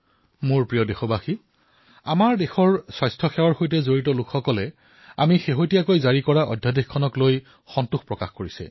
মোৰ মৰমৰ দেশবাসীসকল সমগ্ৰ দেশতে স্বাস্থ্যসেৱাৰ সৈতে জড়িত লোকসকলে তেওঁলোকৰ বাবে প্ৰণয়ন কৰা অধ্যাদেশক লৈ সন্তুষ্টি প্ৰকাশ কৰিছে